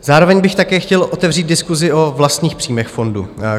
Zároveň bych také chtěl otevřít diskusi o vlastních příjmech fondu.